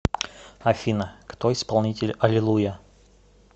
афина кто исполнитель алилуйя